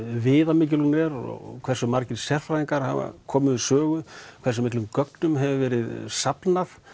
viðamikil hún er og hversu margir sérfræðingar hafa komið við sögu hversu miklum gögnum hefur verið safnað